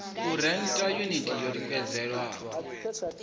u rennda yuniti yo tikedzelwaho